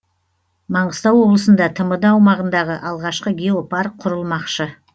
маңғыстау облысында тмд аумағындағы алғашқы геопарк құрылмақшы